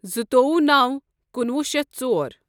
زٕتوۄہُ نوَ کنُۄہُ شیتھ ژۄر